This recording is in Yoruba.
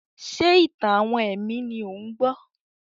Ṣé ìtàn-àwọn ẹ̀mí ni ò ń gbọ́?